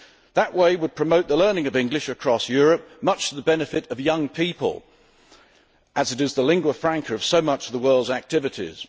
That would promote the learning of English across Europe, much to the benefit of young people, as it is the lingua franca of so much of the world's activities.